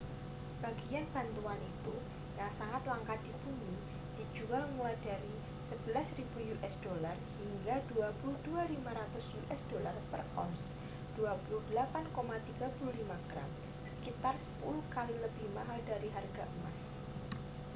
sebagian batuan itu yang sangat langka di bumi dijual mulai dari usd 11.000 hingga usd 22.500 per ounce 28,35 gram sekitar sepuluh kali lebih mahal dari harga emas